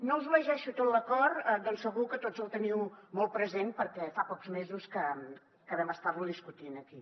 no us llegeixo tot l’acord atès que segur que tots el teniu molt present perquè fa pocs mesos que vam estarlo discutint aquí